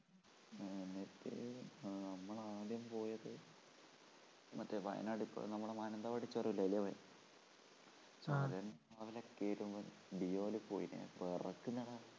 ആ നമ്മള് ആദ്യം പോയത് മറ്റേ വയനാട് നമ്മടെ മാനന്തവാടി ചുരം ഇല്ലേ അതിലേയാപോയെ deo ല് പോയി വിറക്കുന്നെടാ